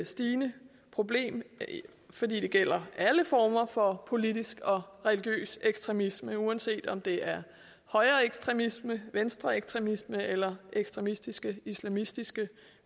stigende problem fordi det gælder alle former for politisk og religiøs ekstremisme uanset om det er højreekstremisme venstreekstremisme eller ekstremistiske islamistiske